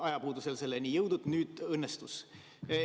Ajapuudusel selleni ei jõudnud, nüüd õnnestus.